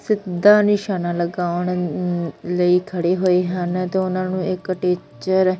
ਸਿੱਧਾ ਨਿਸ਼ਾਨਾ ਲਗਾਉਣ ਲਈ ਖੜੇ ਹੋਏ ਹਨ ਤੇ ਉਹਨਾਂ ਨੂੰ ਇੱਕ ਟੀਚਰ --